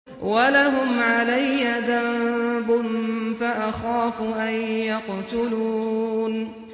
وَلَهُمْ عَلَيَّ ذَنبٌ فَأَخَافُ أَن يَقْتُلُونِ